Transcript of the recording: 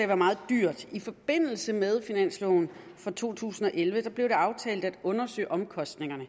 være meget dyrt i forbindelse med finansloven for to tusind og elleve blev det aftalt at undersøge omkostningerne